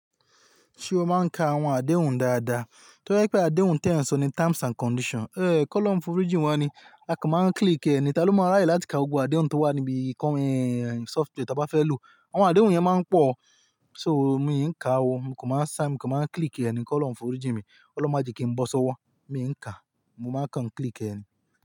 Ṣé o máa ń ka àwọn àdéhùn dáadáa? Torí pé àdéhùn tẹ̀ ń sọ ni terms and conditions. Ehn, ko lòun foríìjì wá ni a kò máa ń click ẹni. Táló máa ràye láti ka gbogbo àdéhùn tó wà níbi ìkànnì software tí a bá fẹ́ lò. Àwọn àdéhùn yẹn máa ń pọ̀. So mi ò kí ń ka o, mo kò máa ń sign, mo kò máa ń click ẹni ko lòun foríìjì mi. Ọlọ́run máa jẹ́ kí n bọ́ sọ́wọ́. Mi ò ń ka. Mo máa ń kàn click ẹni.